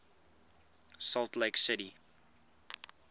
salt lake city